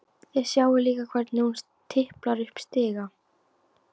Þið sjáið líka hvernig hún tiplar upp stiga.